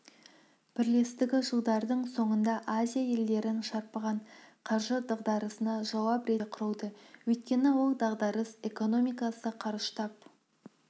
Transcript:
бірлестігі жылдардың соңында азия елдерін шарпыған қаржы дағдарысына жауап ретінде құрылды өйткені ол дағдарыс экономикасы қарыштап